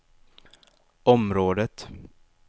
området